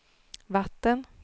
vatten